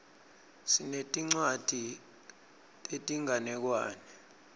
sinetincwadzi tetinganekwane